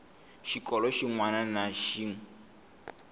xikolo xin wana na xin